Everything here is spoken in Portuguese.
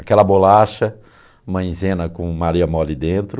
Aquela bolacha, maizena com maria mole dentro.